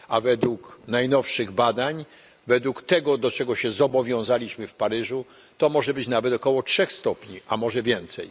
A według najnowszych badań, według tego do czego się zobowiązaliśmy w Paryżu, to może być nawet około 3 stopni, a może więcej.